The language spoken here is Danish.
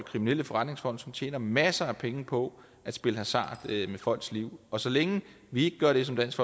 kriminelle forretningsfolk som tjener masser af penge på at spille hasard med folks liv og så længe vi ikke gør det som dansk